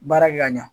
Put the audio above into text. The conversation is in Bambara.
Baara kɛ ka ɲa